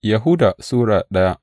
Yahuda Sura daya